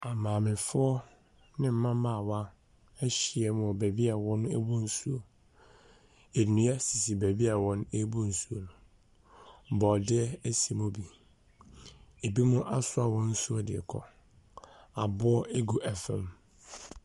Maamefoɔ ne mmabaawa ahyia mu wɔ baabi a wɔbu nsuo. Nnua sisi baabi a wɔbu nsuo no. Borɔdeɛ si mu bi. Ebinom asoa wɔn nsuo rekɔ. Aboɔ gu fam.